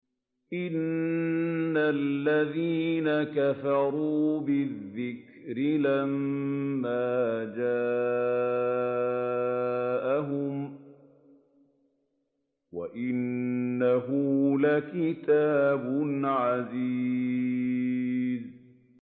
إِنَّ الَّذِينَ كَفَرُوا بِالذِّكْرِ لَمَّا جَاءَهُمْ ۖ وَإِنَّهُ لَكِتَابٌ عَزِيزٌ